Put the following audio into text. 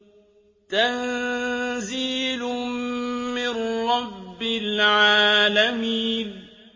تَنزِيلٌ مِّن رَّبِّ الْعَالَمِينَ